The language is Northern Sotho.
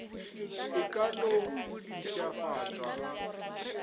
e ka no mpšhafatšwa ga